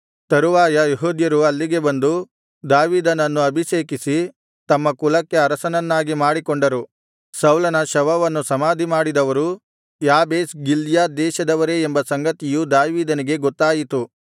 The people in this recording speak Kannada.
ತರುವಾಯ ಯೆಹೂದ್ಯರು ಅಲ್ಲಿಗೆ ಬಂದು ದಾವೀದನನ್ನು ಅಭಿಷೇಕಿಸಿ ತಮ್ಮ ಕುಲಕ್ಕೆ ಅರಸನನ್ನಾಗಿ ಮಾಡಿಕೊಂಡರು ಸೌಲನ ಶವವನ್ನು ಸಮಾಧಿಮಾಡಿದವರು ಯಾಬೇಷ್ ಗಿಲ್ಯಾದ್ ದೇಶದವರೇ ಎಂಬ ಸಂಗತಿಯು ದಾವೀದನಿಗೆ ಗೊತ್ತಾಯಿತು